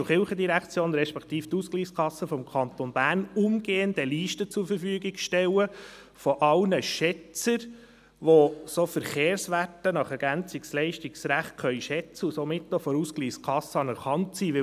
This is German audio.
Ich bitte die JGK, respektive die Ausgleichskasse des Kantons Bern umgehend eine Liste mit allen Schätzern zur Verfügung zu stellen, welche solche Verkehrswerte nach Ergänzungsleistungsrecht schätzen können und somit von der Ausgleichskasse anerkannt sind.